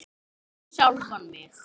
Við sjálfan mig.